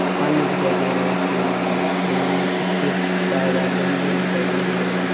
पानी दिखाई दे रहे है इसके मायने यहां इसके बाहर बाहर गमले भी दिखाई दे रहे है।